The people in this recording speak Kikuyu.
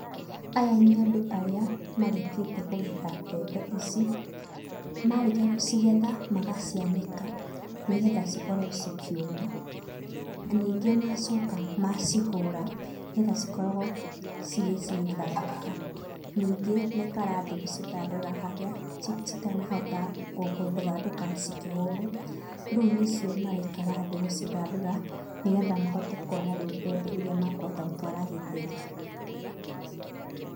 Aya nĩ andũ arĩa marĩkĩtie kũgetha mbembe ici, marĩkia gũcigetha magacianĩka, nĩgetha cikorwo cikĩuma, ningĩ macoka macihũra nĩgetha cikoragwo cigĩ cigĩthandũka. Ningĩ maikara thĩ gũcithandũra harĩa citanahota gũthandũka cikĩhũrwo. Rĩũ nicio maraikara thĩ gũcithandũra, nĩgetha mahote kuona rĩu mbembe iria makũhota gũtwara gĩthĩi.